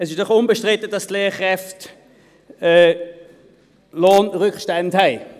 Es ist unbestritten, dass die Lehrkräfte Lohnrückstände haben.